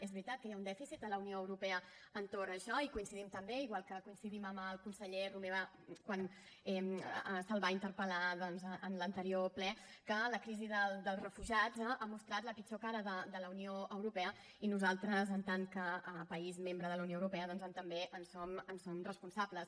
és veritat que hi ha un dèficit a la unió europea entorn d’això hi coincidim també igual que coincidim amb el conseller romeva quan se’l va interpel·lar en l’anterior ple que la crisi dels refugiats ha mostrat la pitjor cara de la unió europea i nosaltres en tant que país membre de la unió europea també en som responsables